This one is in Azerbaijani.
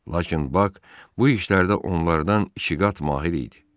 Lakin Bak bu işlərdə onlardan iki qat mahir idi.